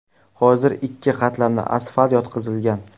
Hozir ikki qatlamli asfalt yotqizilgan.